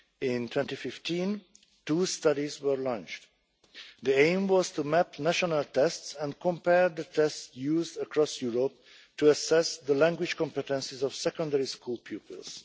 In 2015, two studies were launched. The aim was to map national tests and compare the tests used across Europe to assess the language competences of secondary school pupils.